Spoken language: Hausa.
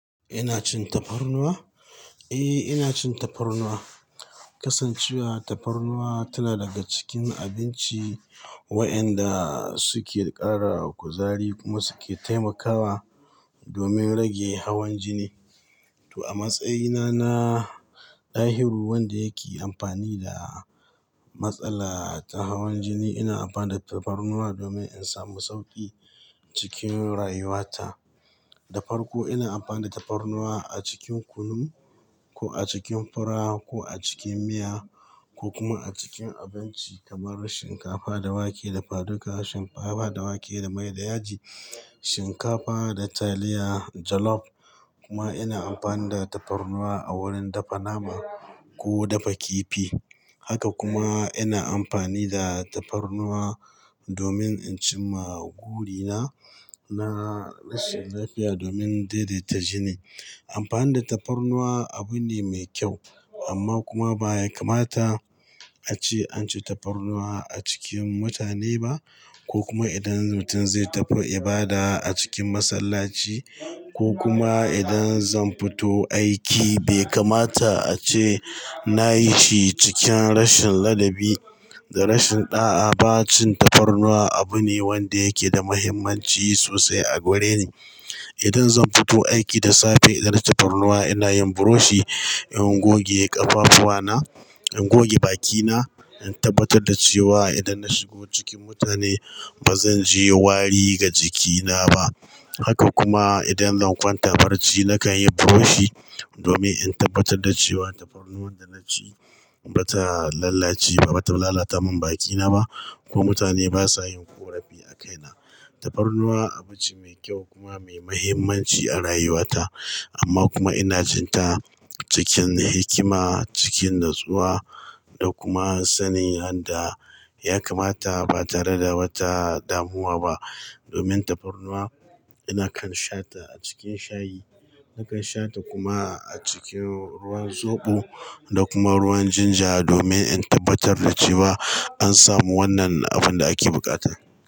Ina cin tafarnuwa? Eh, ina cin tafarnuwa. Kasancewa tafarnuwa tana daga cikin abinci wayanda suke ƙara kuzari kuma suke taimakawa domin rage hawan jini. To a matsayina na Dahiru wanda yake amfani da matsala ta hawan jini, ina amfani da tafarnuwa domin in samu sauƙi cikin rayuwata. Da farko ina amfani da tafarnuwa a cikin kunu ko a cikin fura ko a cikin miya ko kuma a cikin abinci kamar shinkafa da wake dafa duka, shinkafa da wake da mai da yaji, shinkafa da taliya jollof kuma ina amfani da tafarnuwa a wurin dafa nama ko dafa kifi. Haka kuma ina amfani da tafarnuwa domin inci maguri na, na rashin lafiya domin daidaita jini. Amfani da tafarnuwa abune mai kyau amma kuma baya kamata ace anci tafarnuwa a cikin mutane ba ko kuma idan mutum zai tafi ibada a cikin masallaci ko kuma idan zan fito aiki be kamata ace nayishi cikin rashin ladabi da rashin ɗa'a ba. Cin tafarnuwa abune wanda yake da muhimmanci sosai a gareni. Idan zan fito aiki da safe, idan tafarnuwa ina yin buroshi, in goge ƙafafuwana, in goge bakina, in tabbatarda cewa idanna shigo cikin mutane bazanji wari ga jikina ba. Haka kuma idan zan kwanta barci nakanyi buroshi, domin in tabbatar da cewa tafarnuwan danaci bata lalace ba, bata lalata min bakina ba ko mutane basa yin ƙorafi a kaina. Tafarnuwa abinci mai kyau kuma mai muhimmanci a rayuwata amma kuma ina cinta cikin hikima, cikin natsuwa, da kuma sanin yanda ya kamata ba tareda wata damuwa ba. Domin tafarnuwa ina kansha ta a cikin shayi. Nakan sha ta kuma a cikin ruwan zoɓo da kuma ruwan ginger domin in tabbatar da cewa an samu wannan abinda ake buƙata.